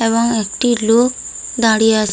এবং একটি লোক দাঁড়িয়ে আছ --